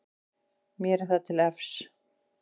Mér er það til efs.